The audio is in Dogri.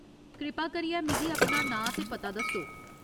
कृपा करियै मिगी अपना नांऽ ते पता दस्सो।